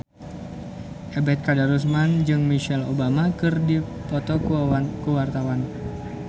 Ebet Kadarusman jeung Michelle Obama keur dipoto ku wartawan